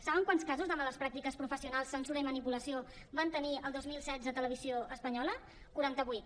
saben quants casos de males pràctiques professionals censura i manipulació van tenir el dos mil setze a televisió espanyola quaranta vuit